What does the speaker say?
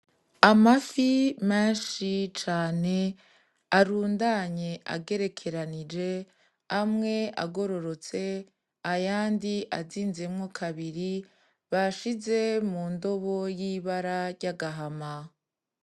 Amafi menshi cane arundanye ageranije, amwe agororotse ayandi azinzemwo kabiri bashize mu ndobo y'ibara ry'agahama.